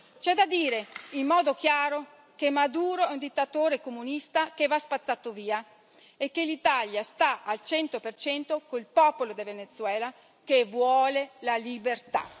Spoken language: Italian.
C'è da dire in modo chiaro che Maduro è un dittatore comunista che va spazzato via e che l'Italia sta al cento per cento col popolo del Venezuela che vuole la libertà.